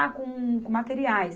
Ah, com, com materiais.